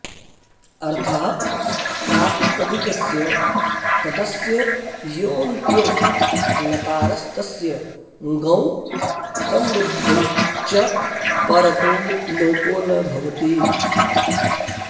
अर्थः प्रातिपदिकस्य पदस्य योऽन्त्यो नकारस्तस्य ङौ सम्बुद्धौ च परतो लोपो न भवति